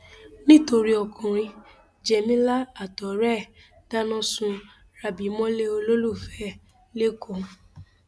nítorí ọkùnrin jémilà àtọrẹ ẹ dáná sun rábì mọlẹ olólùfẹ ẹ lẹkọọ